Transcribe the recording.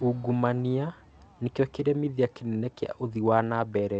ũngumania nĩkĩo kĩremithia kĩnene kĩa ũthii wa nambere